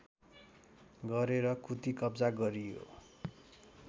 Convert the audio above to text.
गरे र कुती कब्जा गरियो